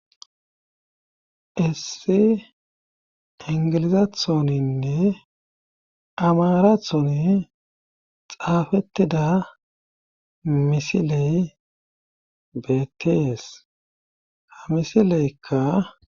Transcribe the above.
issi ingilizathoninne amarathoni xaafettida misiley beettees ha misileykka